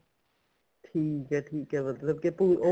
ਠੀਕ ਏ ਠੀਕ ਏ ਮਤਲਬ ਕੀ ਤੂੰ ਉਹ